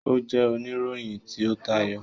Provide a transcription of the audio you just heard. O jẹ onirohin ti o tayọ.